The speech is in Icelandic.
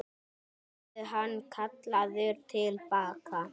Verður hann kallaður til baka?